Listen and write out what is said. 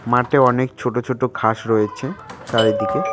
মাটে অনেক ছোট ছোট ঘাস রয়েছে চারিদিকে।